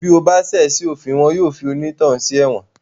Bí o bá ṣẹ̀ sí òfin wọn yóò fi onítọ̀hún sí ẹ̀wọ̀n